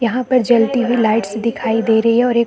यहाँ पे जलती हुई लाइट्‍स दिखाई दे रही है और एक --